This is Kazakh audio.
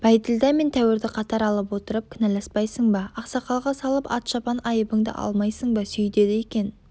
бәйділда мен тәуірді қатар алып отырып кінәласпайсың ба ақсақалға салып ат-шапан айыбыңды алмайсың ба сөйдеді екен